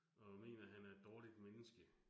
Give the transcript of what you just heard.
Og mener, han er et dårligt menneske